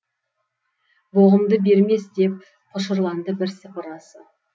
боғымды бермес деп құшырланды бірсыпырасы